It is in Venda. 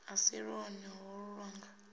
a si lwone holu lwanga